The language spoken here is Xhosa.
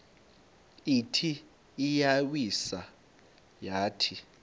ithi iyawisa yathi